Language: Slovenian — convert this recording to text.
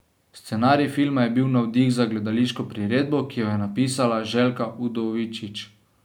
Scenarij filma je bil navdih za gledališko priredbo, ki jo je napisala Željka Udovičić.